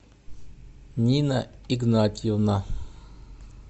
нина игнатьевна